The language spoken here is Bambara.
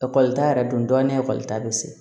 Ekɔlita yɛrɛ donna ekɔli ta bɛ se